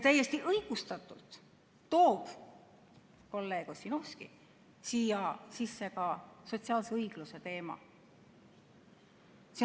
Täiesti õigustatult tõi kolleeg Ossinovski siia sisse ka sotsiaalse õigluse teema.